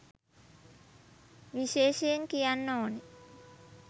විශේෂයෙන් කියන්න ඕනෙ